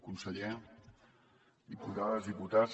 conseller diputades diputats